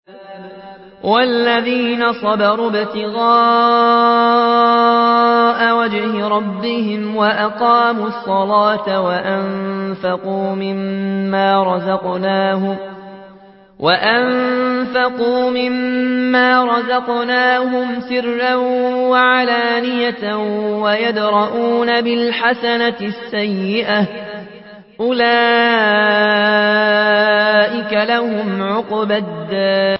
وَالَّذِينَ صَبَرُوا ابْتِغَاءَ وَجْهِ رَبِّهِمْ وَأَقَامُوا الصَّلَاةَ وَأَنفَقُوا مِمَّا رَزَقْنَاهُمْ سِرًّا وَعَلَانِيَةً وَيَدْرَءُونَ بِالْحَسَنَةِ السَّيِّئَةَ أُولَٰئِكَ لَهُمْ عُقْبَى الدَّارِ